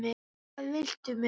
Hvað viltu mér?